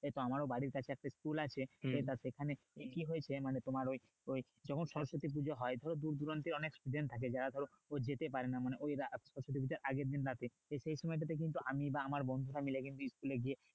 এইতো আমারও বাড়ির কাছে একটা school আছে তা সেখানে কি হয়েছে মানে তোমার ওই ওই যখন সরস্বতী পুজো হয় দূর দূরান্তের অনেক student থাকে যারা যেতে পারেনা মানে ওই রাত পুজোর আগের দিন রাতে সে সেই সময় টাতে কিন্তু আমি বা আমার বন্ধুরা মিলে কিন্তু school এ গিয়ে